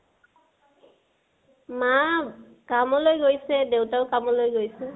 মা কামলৈ গৈছে, দেউতাও কামলৈ গৈছে।